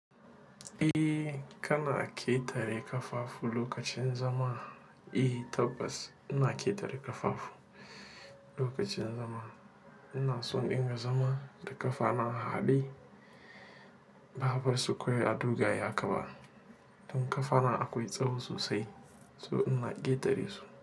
Eh, kana ƙetare ƙafafu lokacin zama. Eh, tabbas ina ƙetare ƙafafu lokacin zama. Ina so in riƙa zama da ƙafa na harhaɗe, ba a bar su kawai a dogaye haka ba don ƙafa na akwai tsawo sosai, so ina ƙetare su.